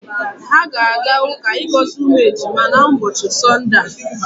Ha ga-aga uka igozi umu ejima na ubochi sonde a.